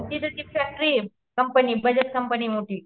तिथं ती फॅक्टरीये कंपनी बजाज कंपनी मोठी.